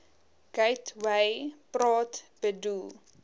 gateway praat bedoel